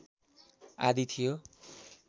आदि थियो